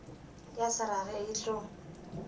ya se rage e tlo